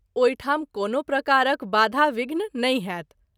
ओहि ठाम कोनो प्रकारक बाधा- विध्न नहिं होयत।